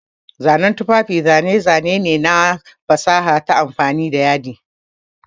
Zanen tufafi zane-zane ne na fasaha ta amfani da yadi.